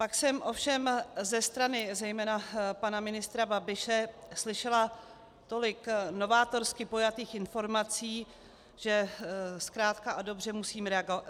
Pak jsem ovšem ze strany zejména pana ministra Babiše slyšela tolik novátorsky pojatých informací, že zkrátka a dobře musím reagovat.